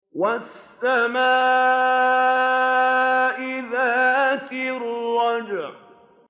وَالسَّمَاءِ ذَاتِ الرَّجْعِ